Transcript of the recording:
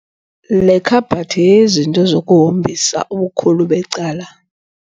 Le khabhathi yeyezinto zokuhombisa, ubukhulu becala.